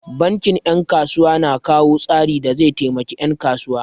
Bankin 'yan kasuwa na kawo tsari da zai taimakawa 'yan kuwa.